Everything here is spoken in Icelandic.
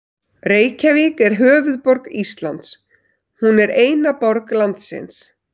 Reykjavík er höfuðborg Íslands. Hún er eina borg landsins.